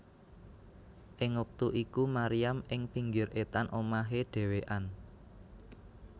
Ing wektu iku Maryam ing pinggir etan omahe dhewéan